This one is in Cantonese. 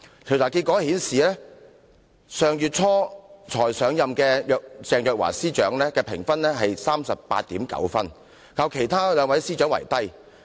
調查結果顯示，上月初才上任的鄭若驊司長的得分是 38.9， 較其他兩位司長為低。